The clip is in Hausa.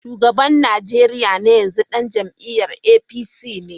Shugaban Najeriya na yanzu dan jam’iyyar APC ne.